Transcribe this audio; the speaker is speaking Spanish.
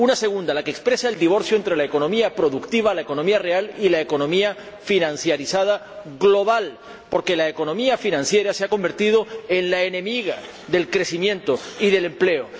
La segunda expresa el divorcio entre la economía productiva —la economía real— y la economía financializada global, porque la economía financiera se ha convertido en la enemiga del crecimiento y del empleo.